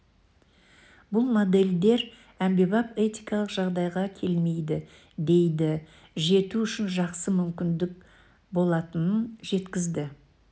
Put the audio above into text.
бұл модельдер әмбебап этикалық жағдайға келмейді дейді жету үшін жақсы мүмкіндік болатынын жеткізді